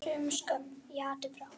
Sumir skömm í hattinn fá.